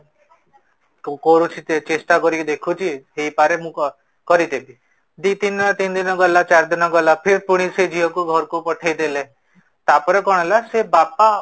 କୋଉ କୋଉଠି ଚେଷ୍ଟା କରିକି ଦେଖୁଛି ହେଇ ପରେ ମୁଁ କରିଦେବି, ଦି ତିନ ଦିନ ଗଲା ଚାର ଦିନ ଗଲା ଫିର ପୁଣି ସେ ଝିଅ କୁ ହାରକୁ ପଠେଇଦେଲେ, ତାପରେ କଣ ହେଲା ସେ ବାପା